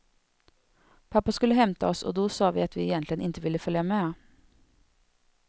Pappa skulle hämta oss och då sa vi att vi egentligen inte ville följa med.